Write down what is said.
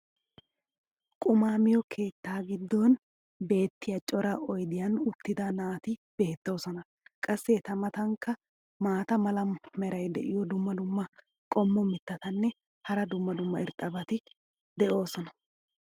qumaa miyo keettaa giddon beetiya cora oydiyan uttida naati beetoosona. qassi eta matankka maata mala meray diyo dumma dumma qommo mitattinne hara dumma dumma irxxabati de'oosona.